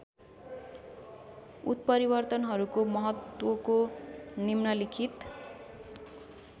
उत्परिवर्तनहरूको महत्त्वको निम्नलिखित